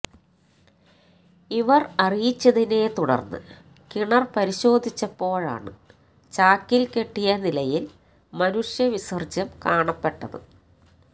ഇവര് അറിയിച്ചതിനെ തുടര്ന്ന് കിണര് പരിശോധിച്ചപ്പോഴാണ് ചാക്കില് കെട്ടിയ നിലയില് മനുഷ്യവിസര്ജ്യം കാണപ്പെട്ടത്